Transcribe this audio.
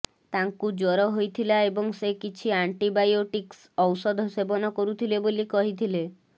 ତାଙ୍କୁ ଜ୍ୱର ହୋଇଥିଲା ଏବଂ ସେ କିଛି ଆଣ୍ଟିବାୟୋଟିକ୍ସ ଔଷଧ ସେବନ କରୁଥିଲେ ବୋଲି କହିଥିଲେ